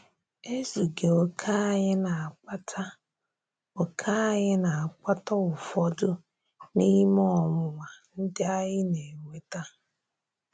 Ézughị okè anyị na-akpàtà okè anyị na-akpàtà ụfọdụ n’ime ọnwụnwa ndị anyị na-enwètà.